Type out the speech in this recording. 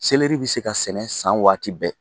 Seleri bɛ se ka sɛnɛ san waati bɛɛ.